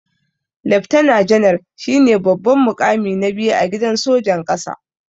Leftana janar shine babban mukami na biyu a gidan sojan ƙasa.